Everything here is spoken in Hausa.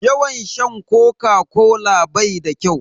Yawan sha Koka-kola bai da kyau.